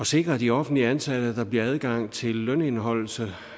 sikre de offentligt ansatte at der bliver adgang til lønindeholdelse